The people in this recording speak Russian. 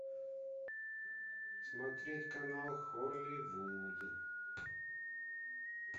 смотреть канал холливуд